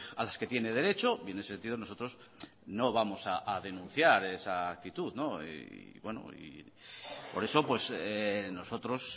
a las que tiene derecho y en ese sentido nosotros no vamos a denunciar esa actitud bueno por eso nosotros